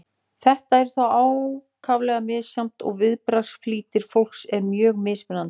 þetta er þó ákaflega misjafnt og viðbragðsflýtir fólks er mjög mismunandi